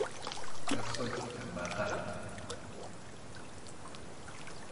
Esuj embataa